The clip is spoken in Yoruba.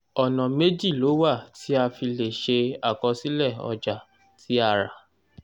ọ̀nà méjì ló wà tí a fi lè ṣe àkọsílẹ̀ ọjà tí a rà